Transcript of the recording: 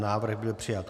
Návrh byl přijat.